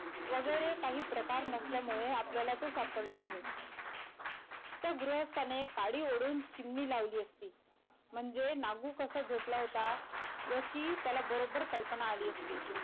वगैरे काही प्रकार नसल्यामुळे आपल्याला ते सापडले नाहीत त्या गृहस्थाने काडी ओडून चिमणी लावली असती म्हणजे नागू कसा झोपला होता याची त्याला बरोबर कल्पना आली असती.